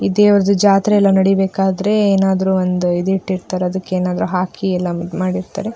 ಈ ದೇವ್ರದು ಜಾತ್ರೆ ಎಲ್ಲ ನಡಿಬೇಕಾದ್ರೆ ಏನಾದ್ರು ಒಂದು ಇದು ಇಟ್ಟಿರ್ತಾರೆ ಅದಕ್ಕೆ ಏನಾದ್ರು ಹಾಕಿ ಎಲ್ಲ ಮಾಡಿರ್ತಾರೆ --